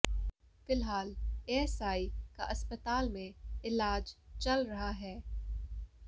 फिलहाल एएसआई का अस्पताल में इलाज चल रहा है